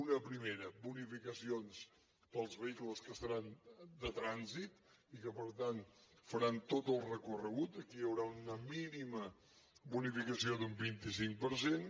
una primera bonificacions per als vehicles que seran de trànsit i que per tant faran tot el recorregut aquí hi haurà una mínima bonificació d’un vint cinc per cent